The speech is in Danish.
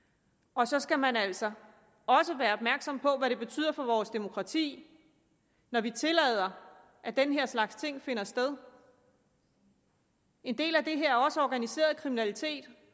og så skal man altså også være opmærksom på hvad det betyder for vores demokrati når vi tillader at den her slags ting finder sted en del af det her er også organiseret kriminalitet